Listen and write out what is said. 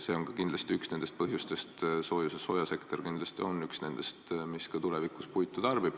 See on kindlasti üks nendest põhjustest, miks soojasektor tarbib ka tulevikus puitu.